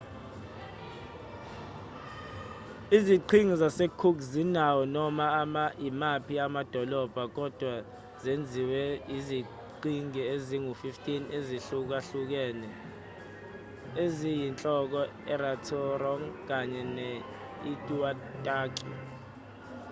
iziqhingi zasecook azinawo noma imaphi amadolobha kodwa zenziwe yiziqhingi ezingu-15 ezihlukahlukene eziyinhloko irarotong kanye ne-aitutaki